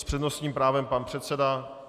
S přednostním právem pan předseda.